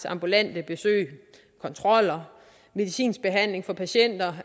ambulante besøg kontroller og medicinsk behandling af patienter